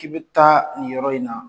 K'i bɛ taa nin yɔrɔ in na